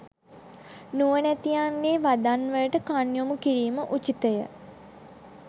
නුවණැතියන්ගේ වදන්වලට කන් යොමු කිරීම උචිතය.